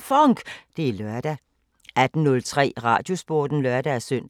FONK! Det er lørdag 18:03: Radiosporten (lør-søn)